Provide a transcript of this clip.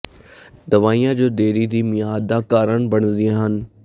ਦਵਾਈਆਂ ਜੋ ਦੇਰੀ ਦੀ ਮਿਆਦ ਦਾ ਕਾਰਨ ਬਣਦੀਆਂ ਹਨ